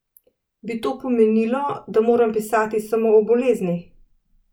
Bi to pomenilo, da moram pisati samo o boleznih?